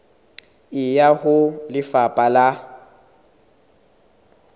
e ya ho lefapha la